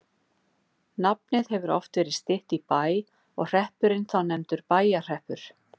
nafnið hefur oft verið stytt í bæ og hreppurinn þá nefndur bæjarhreppur